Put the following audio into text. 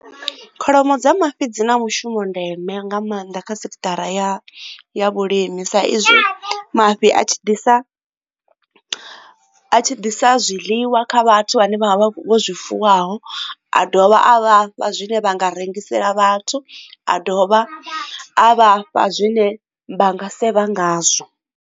Kholomo dza mafhi dzi na mushumo ndeme nga maanḓa kha sekithara ya ya vhulimi sa izwi mafhi a tshi ḓisa a tshi ḓisa zwiḽiwa wa kha vhathu vhane vha vha vho zwifuwo a dovha a vhafha zwine vha nga rengisela vhathu a dovha a vha fha zwine vha nga sevha ngazwo.